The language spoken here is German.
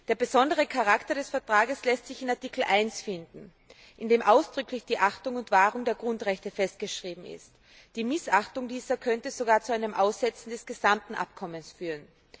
Der besondere Charakter des Vertrages lässt sich in Artikel 1 finden, in dem ausdrücklich die Achtung und Wahrung der Grundrechte festgeschrieben ist. Deren Missachtung könnte sogar zu einem Aussetzen des gesamten Abkommens führen.